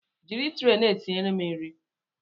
Jiri tre na-etinyere m nri!